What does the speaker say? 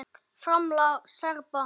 FRAMLAG SERBA